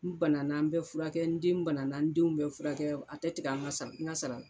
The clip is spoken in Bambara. N bana na n bɛ furakɛ n den bana na n denw bɛ furakɛ a tɛ tigɛ an ka sara n ka sara la